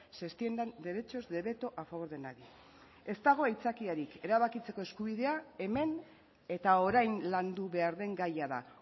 se extiendan derechos de veto a favor de nadie ez dago aitzakiarik erabakitzeko eskubidea hemen eta orain landu behar den gaia da